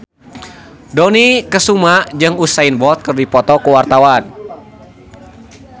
Dony Kesuma jeung Usain Bolt keur dipoto ku wartawan